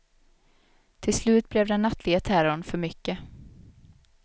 Till slut blev den nattliga terrorn för mycket.